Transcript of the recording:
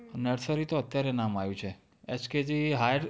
nursery તો અત્યારે નામ આયું છે. HKGhigher